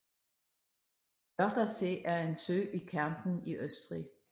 Wörthersee er en sø i Kärnten i Østrig